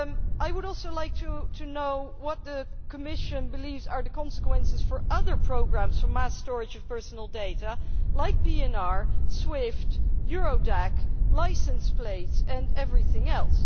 I would also like to know what the Commission believes are the consequences for other programmes for mass storage of personal data, like PNR, Swift, Eurodac, licence plates and everything else.